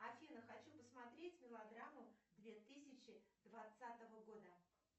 афина хочу посмотреть мелодраму две тысячи двадцатого года